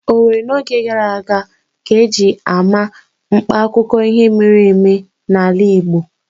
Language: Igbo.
Owerri n'oge gara aga ka eji ama mkpa akụkọ ihe mere eme n'ala Igbo